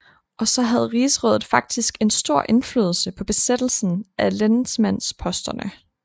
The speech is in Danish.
Også havde rigsrådet faktisk en stor indflydelse på besættelsen af lensmandsposterne